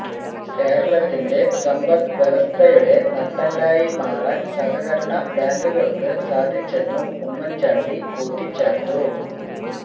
കേരളത്തിന്റെ സമ്പദ്വ്യവസ്ഥയുടെ നട്ടെല്ലായി മാറാൻ സഹകരണ ബാങ്കുകൾക്ക് സാധിച്ചെന്നും ഉമ്മൻചാണ്ടി കൂട്ടിച്ചേർത്തു